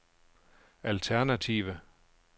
alternative